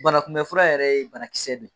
Banakunbɛn fura yɛrɛ ye banakisɛ de ye